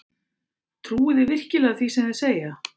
Trúi þið virkilega því sem þeir segja?